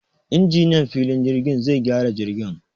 Injiniyan filin jirgin zai gyara jirgin